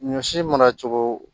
Ɲɔ si mana cogo